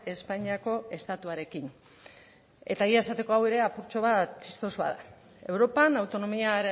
espainiako estatuarekin eta egia esateko hau ere apurtxo bat txistosoa da europan autonomia